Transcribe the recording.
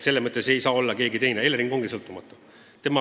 Selles mõttes ei saa see olla keegi teine, et Elering ongi sõltumatu.